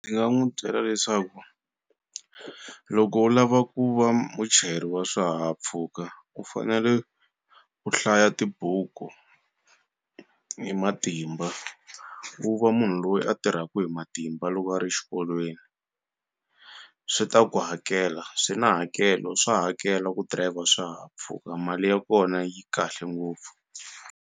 Ni nga n'wu byela leswaku loko u lava ku va muchayeri wa swihahampfhuka u fanele u hlaya tibuku hi matimba u va munhu loyi a tirhaku hi matimba loko a ri xikolweni swi ta ku hakela swi na hakelo swa hakela ku driver swihahampfhuka mali ya kona yi kahle ngopfu.